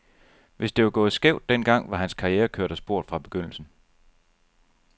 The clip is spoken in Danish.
Hvis det var gået skævt den gang, var hans karriere kørt af sporet fra begyndelsen.